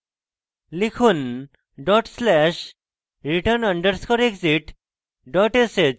লিখুন dot slash return underscore exit dot sh